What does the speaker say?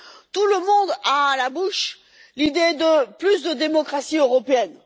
Tout le monde a à la bouche l'idée de plus de démocratie européenne.